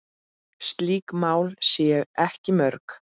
Slík mál séu ekki mörg.